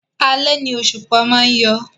Alẹ́ ni òṣùpá má ń yọ